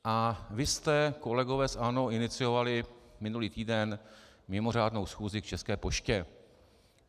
A vy jste, kolegové z ANO, iniciovali minulý týden mimořádnou schůzi k České poště.